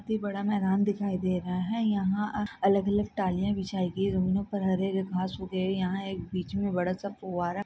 एक बड़ा मैदान दिखाई दे रहा है यहाँ अलग अलग टालिया बिछाई गई उन पर हरे हरे घास उगे है। यहाँ एक बीच मे बड़ासा फौवारा--